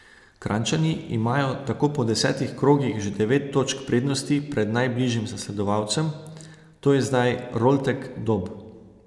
Kranjčani imajo tako po desetih krogih že devet točk prednosti pred najbližjim zasledovalcem, to je zdaj Roltek Dob.